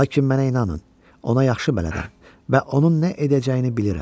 Lakin mənə inanın, ona yaxşı bələdəm və onun nə edəcəyini bilirəm.